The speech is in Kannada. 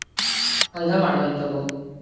ಹಂಗ ಮಾಡೋಣ ತುಗೋ.